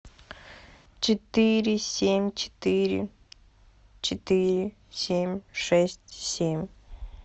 четыре семь четыре четыре семь шесть семь